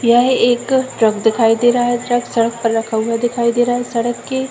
यह एक ट्रक दिखाई दे रहा है ट्रक सड़क पर रखा हुआ दिखाई दे रहा है सड़क के --